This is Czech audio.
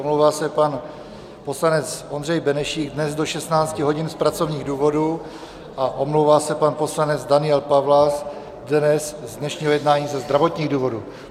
Omlouvá se pan poslanec Ondřej Benešík dnes do 16 hodin z pracovních důvodů a omlouvá se pan poslanec Daniel Pawlas dnes, z dnešního jednání ze zdravotních důvodů.